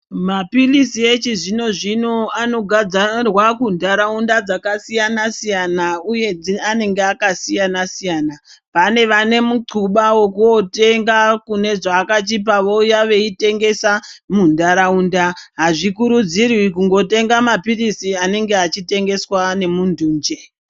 Mapiritsi echizvino-zvino anogadzarwa kuntaraunda dzakasiyana-siyana uye anenge akasiyana-siyana, pane vanemuxuba wekunotenga kunezvakachipa vouya veitengesa muntaraunda, hazvikurudzirwi kungotenga mapiritsi anenge achitengeswa nemuntu njee.